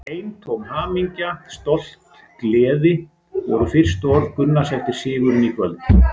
Eintóm hamingja, stolt, gleði voru fyrstu orð Gunnars eftir sigurinn í kvöld.